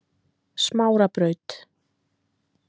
Smárabraut